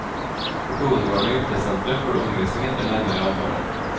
På hovedgården og hjortesenteret får du omvisning etter nærmere avtale.